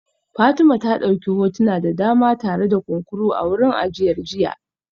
Fatima ta dauki hotuna da dama tare da kunkuru a wurin ajiyar jiya